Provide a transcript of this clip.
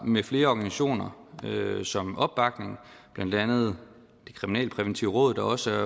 med flere organisationer som opbakning blandt andet det kriminalpræventive råd der også